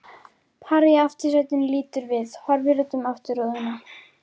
Parið í aftursætinu lítur við, horfir út um afturrúðuna.